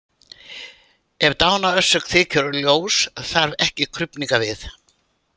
Ef dánarorsök þykir ljós þarf ekki krufningar við.